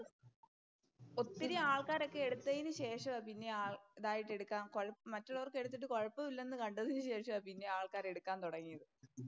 ഒത്തിരി ആൾക്കാരൊക്കെ എടുത്തതിനു ശേഷമാ പിന്നെ ആള്‍ പിന്നെ ഇതായിട്ടെടുക്കാൻ കുഴപ്പമില്ല. മറ്റേത് അവർക്കെടുത്ത് ശേഷം കുഴപ്പമില്ല എന്ന് കണ്ടതിനുശേഷമാ പിന്നെ ആൾക്കാര് എടുക്കാന്‍ തൊടങ്ങിയത്.